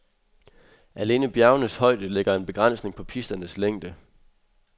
Alene bjergenes højde lægger en begrænsning på pisternes længde.